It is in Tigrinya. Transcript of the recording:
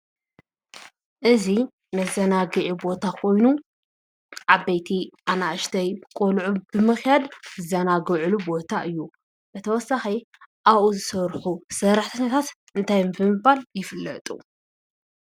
እዚ መዘናጊዒ ቦታ ኮይኑ ዓበይቲ ኣናእሽተይ ቆልዑ ብምካድ ዝዝናግዕሉ ቦታ እዩ ።ብተወሳኪ ኣብኡ ዝሰርሑ ሰራሕተኛታት እንታይ ብምባል ይፍለጡ?